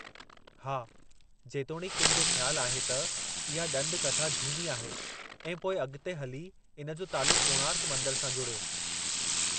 हा, जेतोणीकि किनि जो ख़्यालु आहे त, इहा ॾंद कथा झूनी आहे ऐं पोइ अॻिते हली इन जो तालुकु़ कोणार्क मंदर सां जुड़ियो।